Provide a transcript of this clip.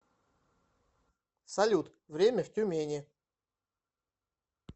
салют время в тюмени